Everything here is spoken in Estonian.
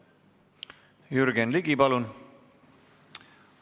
Jürgen Ligi, palun!